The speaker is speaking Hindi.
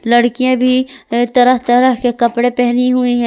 लड़कियां भी एक तरह तरह के कपड़े पहनी हुई है।